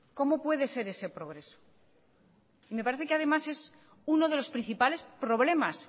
cómo puede ser ese progreso y me parece que además es uno de los principales problemas